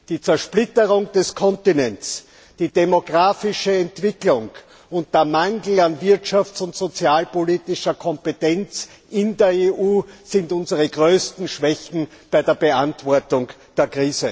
Die Zersplitterung des Kontinents, die demografische Entwicklung und der Mangel an wirtschafts und sozialpolitischer Kompetenz in der EU sind unsere größten Schwächen bei der Beantwortung der Krise.